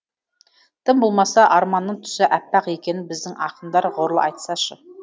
тым болмаса арманның түсі аппақ екенін біздің ақындар ғұрлы айтсашы